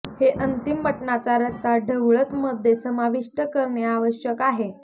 हे अंतिम मटनाचा रस्सा ढवळत मध्ये समाविष्ट करणे आवश्यक आहे